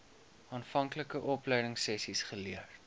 aanvanklike opleidingsessies geleer